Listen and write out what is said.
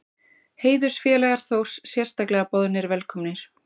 Heiðursfélagar Þórs sérstaklega boðnir velkomnir.